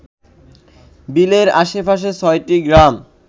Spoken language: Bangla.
বিলের আশেপাশের ছয়টি গ্রাম